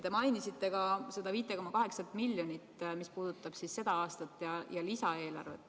Te mainisite ka 5,8 miljonit, mis puudutab seda aastat ja lisaeelarvet.